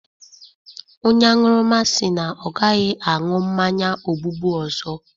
Onye aṅụrụma si na ọ agaghị aṅụ mmanya ogbugbu ọzọ.